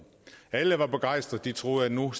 alle var begejstrede de troede at nu